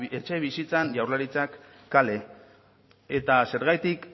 etxebizitzan jaurlaritzak kale eta zergatik